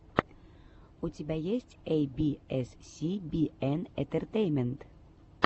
у тебя есть эй би эс си би эн интертеймент